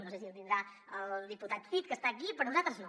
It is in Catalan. no sé si el té el diputat cid que està aquí però nosaltres no